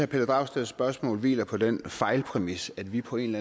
pelle dragsteds spørgsmål hviler på den fejlpræmis at vi på en